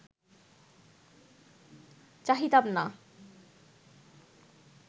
চাহিতাম না